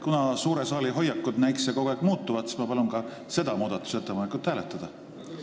Kuna suure saali hoiakud näikse kogu aeg muutuvat, siis ma palun ka seda muudatusettepanekut hääletada!